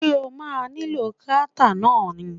Ṣé o ma nílò krátà náà ni?